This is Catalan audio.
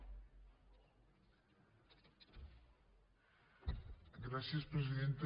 gràcies presidenta